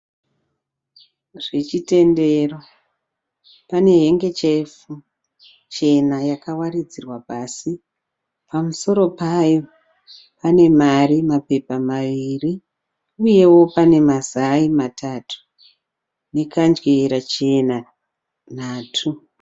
Zvechitendero, pahengechefu chena yakawaridzirwa pasi. Pamusoro payo pane mari mapepa mairi, uyewo pane mazai matatu nekadyera chena nhatu.